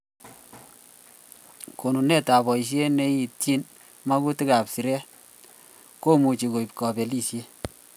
Konunetab boishet neityin magutikab siret komuchi koib kabelishet